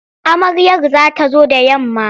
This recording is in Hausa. Amaryar za ta zo da yamma.